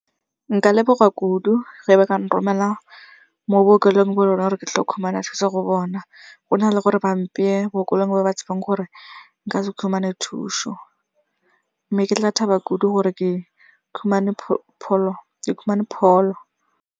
Nka leboga kudu ge ba kang romela mo bookelong bo reng ke tlo khumana thuso go bona, go na le gore ba mpeye bookelong mo ba tshebang gore nka se khumane thuso. Mme ke tla thaba kudu gore ke khumane pholo.